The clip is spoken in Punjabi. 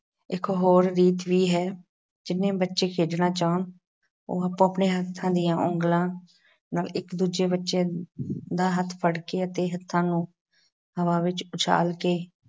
ਇੱਕ ਹੋਰ ਗੀਤ ਵੀ ਹੈ। ਜਿੰਨੇ ਬੱਚੇ ਖੇਡਣਾ ਚਾਹੁੰਣ ਉਹ ਆਪੋ-ਆਪਣੇ ਹੱਥਾਂ ਦੀਆਂ ਉਂਗਲਾਂ ਨਾਲ ਇਕ ਦੂਜੇ ਬੱਚੇ ਦਾ ਹੱਥ ਫੜ ਕੇ ਅਤੇ ਹੱਥਾਂ ਨੂੰ ਹਵਾ ਵਿੱਚ ਉਛਾਲ ਕੇ